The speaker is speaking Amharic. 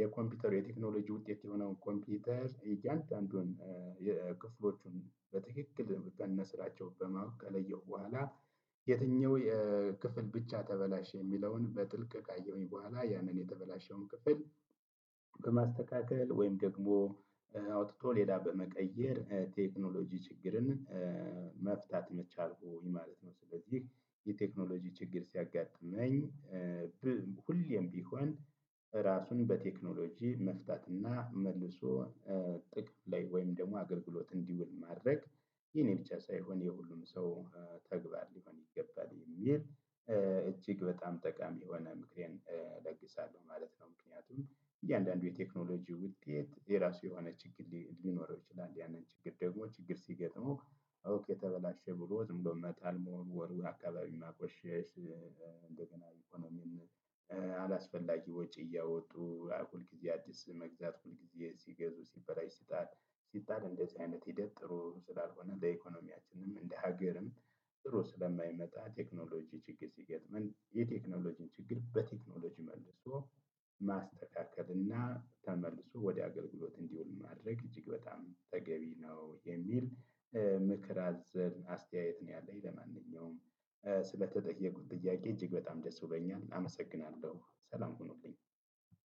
የኮምፒውተሩ የቴክኖሎጂ ውጤት የሆነው ኮምፒውተር እያንዳንዱን የክፍሎቹን በትክክል ከነስራቸው በማወቅ ከለየሁ በኋላ የትኛው የክፍል ብቻ ተበላሸ የሚለውን በጥልቅ ካየሁኝ በኋላ ያንን የተበላሸውን ክፍል በማስተካከል ወይም ደግሞ አውጥቶ ሌላ በመቀየር ቴክኖሎጂ ችግርን መፍታት ቻልኩኝ ማለት ነው። ስለዚህ የቴክኖሎጂ ችግር ሲያጋጥመኝ ሁሌም ቢሆን ራሱን በቴክኖሎጂ መፍታት እና መልሶ ጥቅም ላይ ወይም ደግሞ አገልግሎት እንዲውል ማድረግ የኔ ብቻ ሳይሆን የሁሉም ሰው ተግባር ሊሆን ይገባል የሚል እጅግ በጣም ጠቃሚ የሆነ ምክሬን እለግሳለሁ ማለት ነው። ምክንያቱም እያንዳንዱ የቴክኖሎጂ ውጤት የራሱ የሆነ ችግር ሊኖረው ይችላል። ያንን ችግር ደግሞ ችግር ሲገጥመው ኦኬ ተበላሸ ብሎ ዝም ብሎ መጣል መወርወር አካባቢ ማቆሸሽ እንደገና ኢኮኖሚን አላስፈላጊ ወጪ እያወጡ ሁልጊዜ አዲስ መግዛት ሁልጊዜ ሲገዙ ሲበላሽ ሲጣል ሲጣል እንደዚህ አይነት ሂደት ጥሩ ስላልሆነ ለኢኮኖሚያችንም እንደ ሀገርም ጥሩ ስለማይመጣ ቴክኖሎጂ ችግር ሲገጥመን የቴክኖሎጂን ችግር በቴክኖሎጂ መልሶ ማስተካከል እና ተመልሶ ወደ አገልግሎት እንዲውል ማድረግ እጅግ በጣም ተገቢ ነው የሚል ምክር አዘል አስተያየት ነው ያለኝ። ለማንኛውም ስለተጠየኩት ጥያቄ እጅግ በጣም ደስ ብሎኛል። አመሰግናለሁ ሰላም ሁኑልኝ